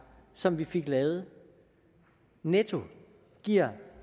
som vi fik lavet netto giver